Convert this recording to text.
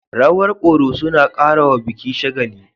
Rawar ƙoroso na karawa biki shagali.